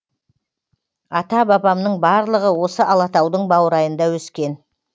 ата бабамның барлығы осы алатаудың баурайында өскен